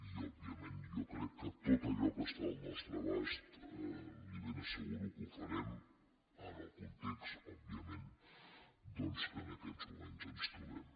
i òbviament jo crec que tot allò que està al nostre abast li ben asseguro que ho farem en el context òbviament doncs que en aquests moments ens trobem